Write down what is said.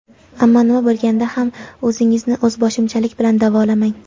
Ammo nima bo‘lganda ham, o‘zingizni o‘zboshimchalik bilan davolamang.